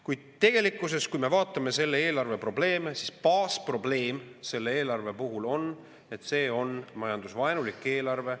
Kuid tegelikult, kui me vaatame selle eelarve probleeme, siis baasprobleem selle eelarve puhul on, et see on majandusevaenulik eelarve.